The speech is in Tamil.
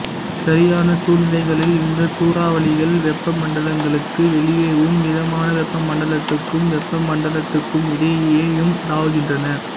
சரியான சூழ்நிலைகளில் இந்த சூறாவளிகள் வெப்பமண்டலங்களுக்கு வெளியேவும் மிதமான வெப்ப மண்டலத்துக்கும் வெப்பமண்டலத்துக்கும் இடையேயும் தாவுகின்றன